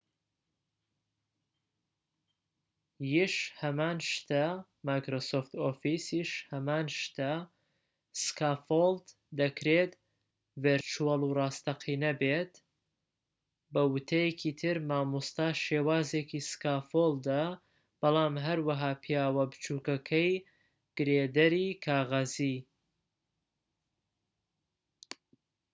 سکافۆڵد دەکرێت ڤیرچوەڵ و ڕاستەقینە بێت، بە وتەیەکی تر، مامۆستا شێوازێکی سکافۆڵدە بەڵام هەوەها پیاوە بچووکەکەی گرێدەری کاغەزی microsoft officeیش هەمان شتە